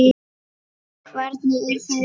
Hvernig, er það rétt?